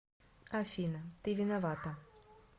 афина ты виновата